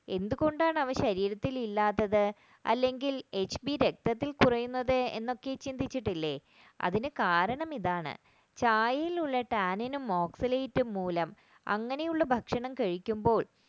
എന്തുകൊണ്ടാണ് അവ ശരീരത്തിൽ ഇല്ലാത്തത് അല്ലെങ്കിൽ hp രക്തത്തിൽ കുറയുന്നത് എന്നൊക്കെ ചിന്തിച്ചിട്ടില്ല അതിന് കാരണം ഇതാണ് ചായയിലുള്ള tannin oxalate മൂലം അങ്ങനെയുള്ള ഭക്ഷണം കഴിക്കുമ്പോൾ